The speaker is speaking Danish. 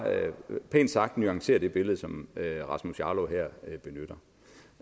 pænt sagt nuancerer det billede som rasmus jarlov her benytter